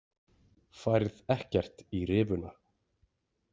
Færð ekkert í rifuna.